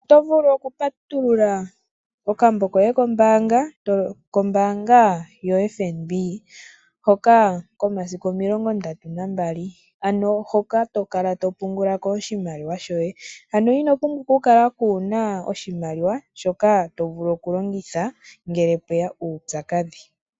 Otovulu oku patulula okambo koye kombaanga, kombaanga yoFNB hoka komasiku omilonga ndatu nambali, ano hoka tokala topungulako oshimaliwa shoye, ano ino pumbwa okukala kuuna oshimaliwa shoka tovulu okulongitha ngele pweya uupyakadhi.